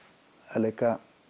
að leika